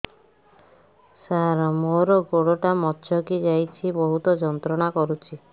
ସାର ମୋର ଗୋଡ ଟା ମଛକି ଯାଇଛି ବହୁତ ଯନ୍ତ୍ରଣା କରୁଛି